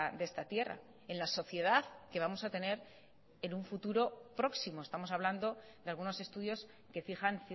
de esta tierra en la sociedad que vamos a tener en un futuro próximo estamos hablando de algunos estudios que fijan